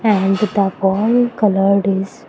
And the wall colour is --